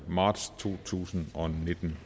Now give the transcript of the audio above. marts to tusind og nitten